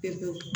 Pewu